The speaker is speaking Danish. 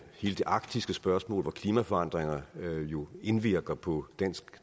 arktiske spørgsmål hvor klimaforandringer jo indvirker på dansk